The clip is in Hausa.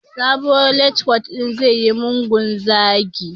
Sabuwar lectut din tayi mugun zagi